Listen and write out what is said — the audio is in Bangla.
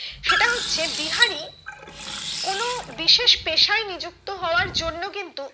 সেটা হচ্ছে বিহারি কোনো বিশেষ পেশায় নিযুক্ত হওয়ার জন্য কিন্তু